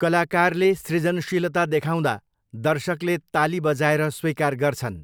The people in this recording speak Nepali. कलाकारले सृजनशीलता देखाउँदा दर्शकले ताली बजाएर स्वीकार गर्छन्।